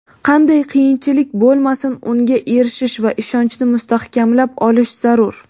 qanday qiyinchilik bo‘lmasin unga erishish va ishonchni mustahkamlab olish zarur.